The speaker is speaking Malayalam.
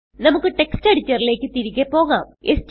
നമുക്ക് ടെക്സ്റ്റ് എഡിറ്ററിലേക്ക് തിരികെ പോകാം